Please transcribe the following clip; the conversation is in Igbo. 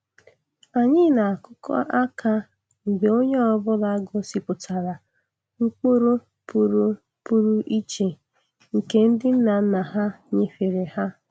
Anyị na-akụkọ aka mgbe onye ọ bụla gosipụtara mkpụrụ pụrụ pụrụ iche nke ndị nna nna ha nyefere ha.